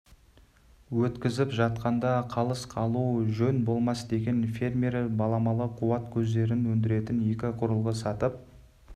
өткізіп жатқанда қалыс қалу жөн болмас деген фермер баламалы қуат көздерін өндіретін екі құрылғы сатып